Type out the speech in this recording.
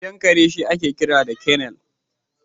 Gidan kare shi ake kira kennel